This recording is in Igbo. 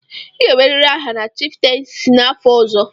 Ị ga-enwerịrị aha na chiftensi n'afọ ọzọ.